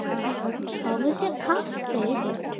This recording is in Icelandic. Fáðu þér kaffi.